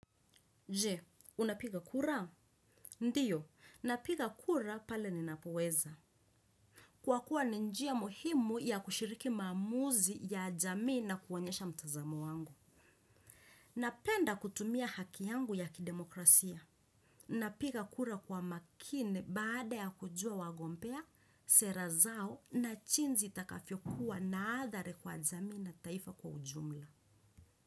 Je, unapiga kura? Ndio, napiga kura pale ninapoweza. Kwa kuwa ni njia muhimu ya kushiriki maamuzi ya jamii na kuonyesha mtazamu wangu. Napenda kutumia haki yangu ya kidemokrasia. Napiga kura kwa makini baada ya kujua wagombea, sera zao na jinsi itakavyo kuwa na adhari kwa jamii na taifa kwa ujumla.